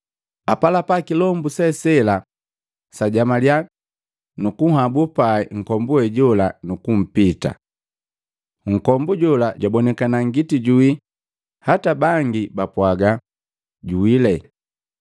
Apalapa kilombu se sela, sajamaliya, nukunhabu pai nkombu we jola nukumpita. Nkombu jola jabonikana ngiti jojuwii hata bangi bapwaaga, “Juwii!”